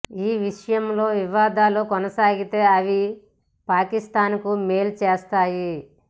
ఈ విషయంలో వివాదాలు కొనసాగితే అవి పాకిస్తాన్కు మేలు చేస్తాయి